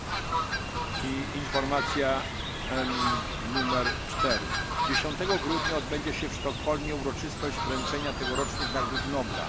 Czwarta informacja 10 grudnia w Sztokholmie odbędzie się uroczystość wręczenia tegorocznych nagród Nobla.